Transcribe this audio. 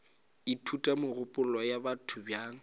ithuta megopolo ya batho bjang